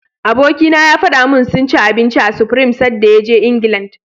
Abikina ya faɗa min sun ci abinci a Supreme sadda ya je England.